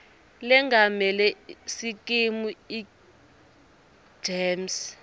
lengamele sikimu egems